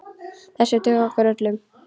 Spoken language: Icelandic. Þessir duga okkur öllum.